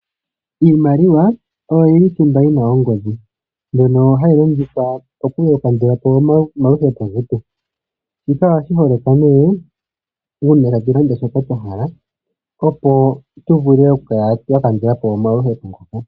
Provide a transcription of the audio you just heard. Iimaliwa oyo yili thimba yi na ongodhi mbyono hayi longithwa oku kandulapo omaudhigu agehe. Shika ohashi holoka nee uuna tatu landa shoka twa hala opo tu vule oku kala twa kandulapo omaluhepo getu.